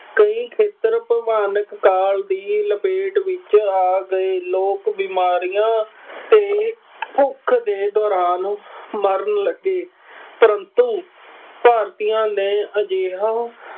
ਕਈ ਖੇਤਰ ਭਿਆਨਕ ਕਾਲ ਦੀ ਲਪੇਟ ਵਿੱਚ ਆ ਗਏ। ਲੋਕ ਬਿਮਾਰੀਆਂ ਅਤੇ ਭੁੱਖ ਦੇ ਦੌਰਾਨ ਮਰਨ ਲੱਗੇ। ਪਰੰਤੂ ਭਾਰਤੀਆਂ ਨੇ ਅਜਿਹਾ